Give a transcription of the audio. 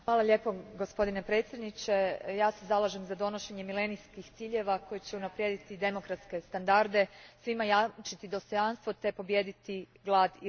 Gospodine predsjedniče, ja se zalažem za donošenje Milenijskih ciljeva koji će unaprijediti demokratske standarde, svima jamčiti dostojanstvo te pobijediti glad i rat.